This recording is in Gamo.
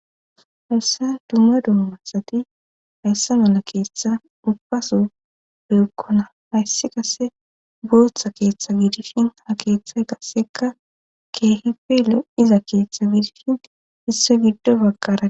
Hassan dumma dumo masati hayssa mala keeththa ubbaso beyekkona hayssi kase bootha keeththa biidifin ha keeththay kasseka keehipele iza keeththa biidifin hisso giddo bagqara.